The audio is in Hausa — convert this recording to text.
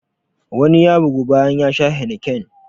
Wani ya bygu bayan ya sha heineken.